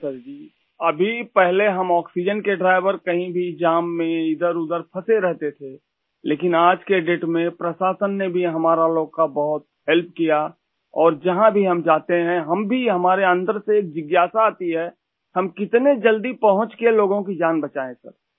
ہاں سر ! پہلے ، ہم آکسیجن کے ڈرائیور کہیں بھی ادھر ادھر جام میں پھنسے رہتے تھے ، لیکن آج کی تاریخ میں ، انتظامیہ نے بھی ہم لوگوں کی بہت مدد کی ہے اور جہاں بھی ہم جاتے ہیں تو ہمارے اندر بھی تجسس پیدا ہوتا ہے ، کہ ہم کتنی جلدی پہنچ کر لوگوں کی جان بچائیں